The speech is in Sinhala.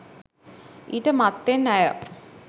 ඊට මත්තෙන් ඇය